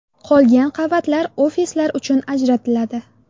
Qolgan qavatlar ofislar uchun ajratiladi.